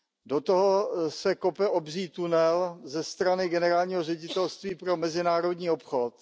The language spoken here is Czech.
Do toho se kope obří tunel ze strany generálního ředitelství pro mezinárodní obchod.